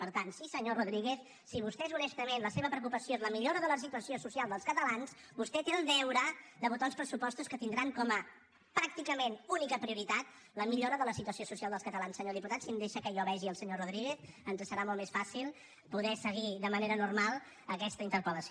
per tant sí senyor rodríguez si vostès honestament la seva preocupació és la millora de la situació social dels catalans vostè té el deure de votar uns pressupostos que tindran com a pràcticament única prioritat la millora de la situació social dels catalans senyor diputat si em deixa que jo vegi el senyor rodríguez ens serà molt més fàcil poder seguir de manera normal aquesta interpel·lació